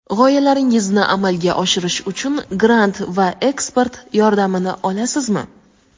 g‘oyalaringizni amalga oshirish uchun grant va ekspert yordamini olasizmi?.